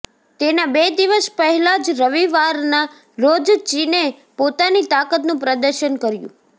તેના બે દિવસ પહેલાં જ રવિવારના રોજ ચીને પોતાની તાકતનું પ્રદર્શન કર્યું